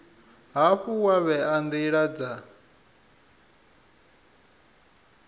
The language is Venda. hafhu wa vhea ndila dza